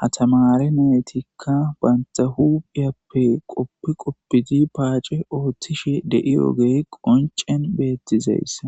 hatamare naytikka banta huphiyappe qoppi qoppidi paace oothtishe de'i ogey qoncen beettizeyssa.